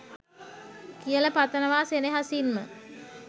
කියල පතනවා සෙනෙහසින්ම.